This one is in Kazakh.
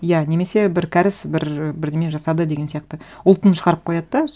иә немесе бір кәріс бір бірдеңе жасады деген сияқты ұлтын шағарып қояды да